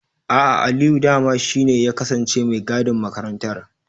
A'a, Aliyu dama shi ne ya kasance mai gadin makarantar.